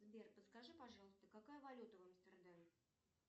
сбер подскажи пожалуйста какая валюта в амстердаме